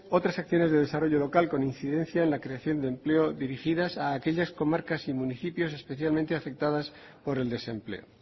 otras acciones de desarrollo local con incidencia en la creación de empleo dirigidas a aquellas comarcas y municipios especialmente afectados por el desempleo